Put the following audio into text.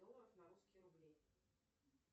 долларов на русские рубли